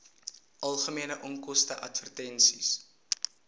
algemene onkoste advertensies